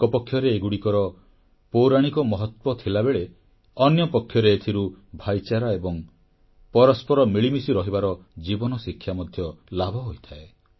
ଏକପକ୍ଷରେ ଏଗୁଡ଼ିକର ପୌରାଣିକ ମହତ୍ୱ ଥିଲାବେଳେ ଅନ୍ୟପକ୍ଷରେ ଏଥିରୁ ଭ୍ରାତୃଭାବ ଏବଂ ପରସ୍ପର ମିଳିମିଶି ରହିବାର ଜୀବନଶିକ୍ଷା ମଧ୍ୟ ଲାଭ ହୋଇଥାଏ